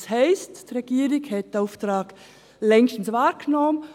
Das heisst: Die Regierung hat diesen Auftrag längst wahrgenommen.